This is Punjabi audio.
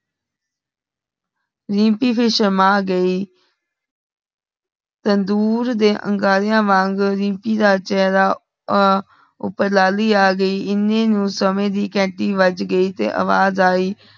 ਰੀਮਪੀ ਫਹਿਰ ਸ਼ਰਮਾ ਗਈ ਤੰਦੂਰ ਦੇ ਅੰਗਾਰਿਆਂ ਵਾਂਗ ਰੀਮਪੀ ਦਾ ਚੇਹਰਾ ਆ ਉਪਰ ਲਾਲੀ ਆ ਗਈ ਏਨੇ ਨੂੰ ਸਮੇਂ ਦੀ ਘੇਨਟੀ ਬਜ ਗਈ ਤੇ ਅਵਾਜ ਆਯੀ